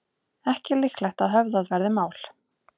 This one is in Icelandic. Ekki líklegt að höfðað verði mál